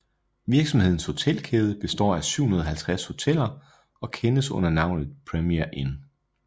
Virksomhedens hotelkæde består af 750 hoteller og kendes under navnet Premier Inn